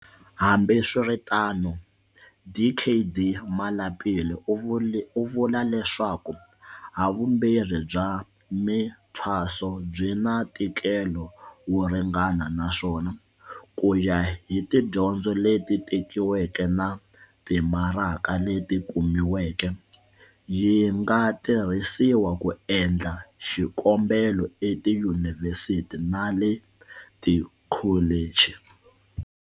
Hambiswiritano, Dkd Malapile u vula leswaku havumbirhi bya mithwaso byi na ntikelo wo ringana naswona, kuya hi tidyondzo leti tekiweke na timaraka leti kumiweke, yi nga tirhisiwa ku endla xikombelo etiyunivhesiti na le tikholichi.